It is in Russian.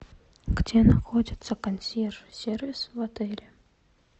где находится консьерж сервис в отеле